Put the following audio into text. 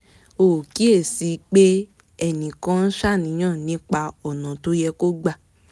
ó kíyè sí i pé ẹnì kan ń ṣàníyàn nípa ọ̀nà tó yẹ kó gbà